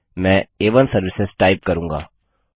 मैं आ1 services type करूँगा